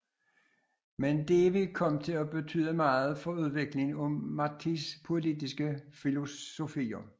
Mendive kom til at betyde meget for udviklingen af Martís politiske filosofier